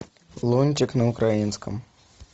лунтик на украинском